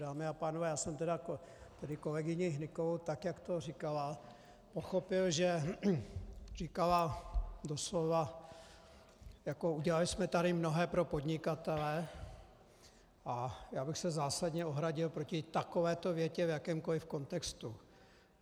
Dámy a pánové, já jsem tedy kolegyni Hnykovou, tak jak to říkala, pochopil, že říkala doslova: jako udělali jsme tady mnohé pro podnikatele, a já bych se zásadně ohradil proti takovéto větě v jakémkoliv kontextu.